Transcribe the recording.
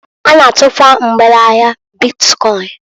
Ha na-atukwa mgbere ahia bitkọịn.